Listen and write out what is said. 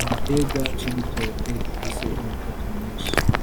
igitegwa c'igitoke gifise imitoto myinshi